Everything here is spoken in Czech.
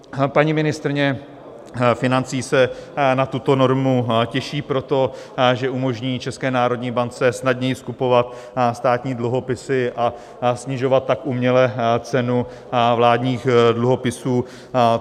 Paní ministryně financí se na tuto normu těší proto, že umožní České národní bance snadněji skupovat státní dluhopisy a snižovat tak uměle cenu vládních dluhopisů.